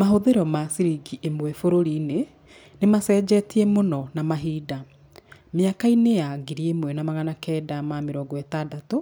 Mahũthĩro ma ciringi ĩmwe bũrũri-inĩ nĩ macenjetie mũno na mahinda. Mĩaka-inĩ ya ngiri ĩmwe na magana kenda ma mĩrongo ĩtandatũ,